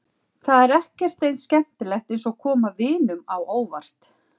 Það er ekkert eins skemmtilegt eins og að koma vinunum á óvart.